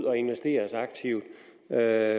af